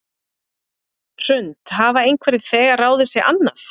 Hrund: Hafa einhverjir þegar ráðið sig annað?